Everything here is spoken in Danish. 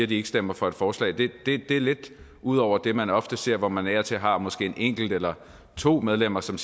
de ikke stemmer for et forslag er lidt ud over det man ofte ser hvor man af og til har måske et enkelt eller to medlemmer som